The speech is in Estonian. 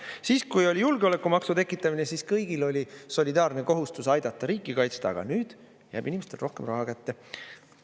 Siis kui oli julgeolekumaksu tekitamine, siis kõigil oli solidaarne kohustus aidata riiki kaitsta, aga nüüd jääb inimestele rohkem raha kätte.